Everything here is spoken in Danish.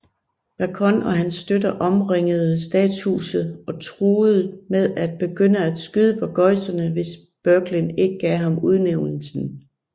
Bacon og hans støtter omringede statshuset og truet med at begynde at skyde Burgesserne hvis Berkeley ikke gav ham udnævnelsen